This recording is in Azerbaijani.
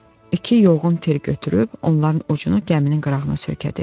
İki yoğun tir götürüb onların ucunu gəminin qırağına söykədi.